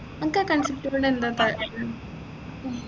അൻക്ക് ആ ലോഡ് എന്താ